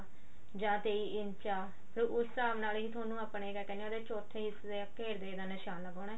ਜਾਂ ਤੇਈ ਇੰਚ ਆ ਫੇਰ ਉਸ ਹਿਸਾਬ ਨਾਲ ਹੀ ਤੁਹਾਨੂੰ ਕਿਆ ਕਹਿੰਦੇ ਆ ਉਹਦੇ ਚੋਥੇ ਹਿੱਸੇ ਦੇ ਘੇਰ ਦਾ ਨਿਸ਼ਾਨ ਲਗਾਨਾ